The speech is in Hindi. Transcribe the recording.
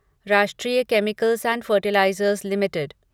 राष्ट्रीय केमिकल्स एंड फ़र्टिलाइज़र्स लिमिटेड